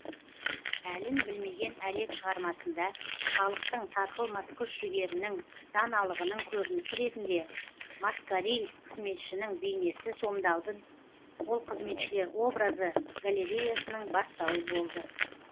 әлін білмеген әлек шығармасында халықтың сарқылмас күш жігерінің даналығының көрінісі ретінде маскариль қызметшінің бейнесі сомдалды ол қызметшілер образы галереясының бастауы болды